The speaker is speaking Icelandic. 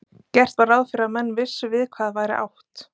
Gert var ráð fyrir að menn vissu við hvað væri átt.